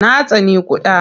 Na tsani ƙuda.